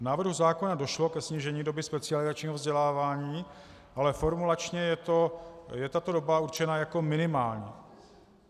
V návrhu zákona došlo ke snížení doby specializačního vzdělávání, ale formulačně je tato doba určena jako minimální.